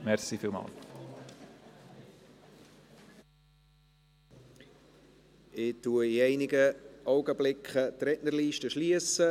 Ich werde die Rednerliste in einigen Augenblicken schliessen.